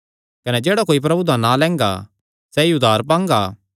कने जेह्ड़ा कोई प्रभु दा नां लैंगा सैई उद्धार पांगा